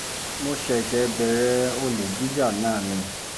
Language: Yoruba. mo ṣẹ̀ṣẹ̀ bẹ̀rẹ̀ olè jíjà náà ni